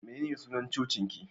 Menene sunar cocin ki?